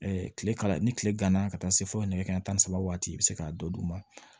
kile kala ni tile ganna ka taa se fo nɛgɛ kanɲɛ tan ni saba waati i bɛ se k'a dɔ d'u ma